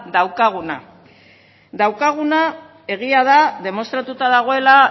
daukaguna daukaguna egia da demostratuta dagoela